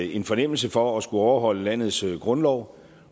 en fornemmelse for at skulle overholde landets grundlov